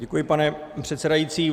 Děkuji, pane předsedající.